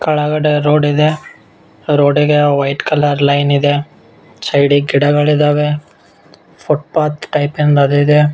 ಕೆಳಗಡೆ ರೋಡ್ ಇದೆ ರೋಡ್ಗೆ ವೈಟ್ ಕಲರ್ ಲೈನ್ ಇದೆ ಸೈಡ್ ಗೆ ಗಿಡಗಳಿದ್ದಾವೆ ಫುಟ್ ಪಾತ್ ಟೈಪಿಂದ್ ಅದು ಇದೆ.